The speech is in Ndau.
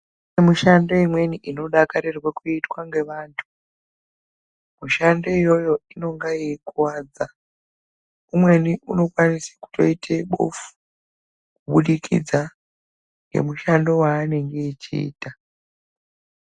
Mushando imweni inodakarirwe kuitwa ngevantu. Mushando iyoyo inenga yeikuvadza. Umweni unokwanise kutiota bofu kubudikidza ngemushando waanenge echiita.